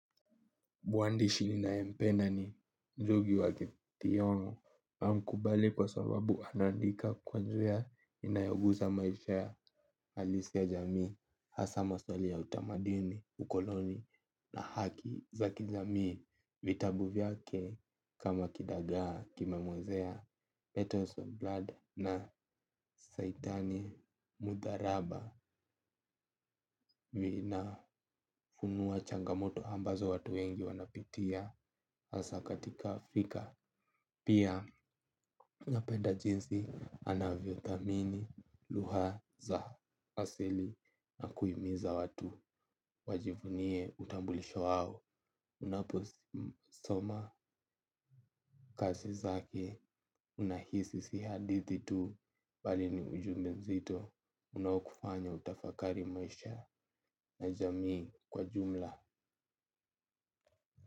Mwandishi ninayempenda ni Ngugi wa Thiong'o. Namkubali kwa sababu anaandika kwa njia inayoguza maisha ya halisi ya jamii hasa maswali ya utamaduni, ukoloni na haki za kijamii. Vitabu vyake kama kidagaa kimemwozea Petos on blood na saitani mudharaba vinafunua changamoto ambazo watu wengi wanapitia hasa katika Afrika. Pia napenda jinsi anavyo thamini lughaza asili na kuhimiza watu wajivunie utambulisho wao. Unaposoma kazi zake unahisi sihadithi tu balini ujumbenzito unaokufanya utafakari maisha najamii kwa jumla.